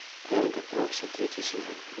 эрго прокси третий сезон